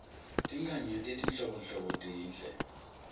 tinkhanyeti letinhlobonhlobo tinhle